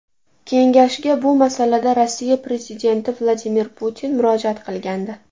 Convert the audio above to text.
Kengashga bu masalada Rossiya prezidenti Vladimir Putin murojaat qilgandi.